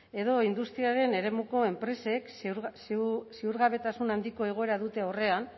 edo industriaren eremuko enpresek ziurgabetasun handiko egoera dute aurrean